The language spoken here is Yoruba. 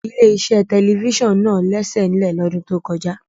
Ilé-iṣẹ́ television náà lẹ́sẹ̀ nílẹ̀ lọ́dún tó kọjá.